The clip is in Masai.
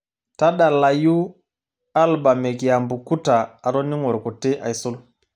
tadalayu albam ekiambukuta atoning'o irkuti aisul